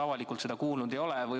Avalikult seda kuulda olnud ei ole.